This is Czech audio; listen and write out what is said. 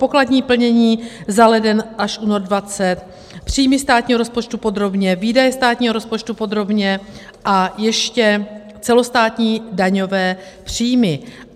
Pokladní plnění za leden až únor 2020, příjmy státního rozpočtu podrobně, výdaje státního rozpočtu podrobně a ještě celostátní daňové příjmy.